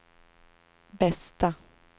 bästa